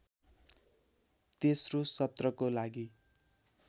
तेस्रो सत्रको लागि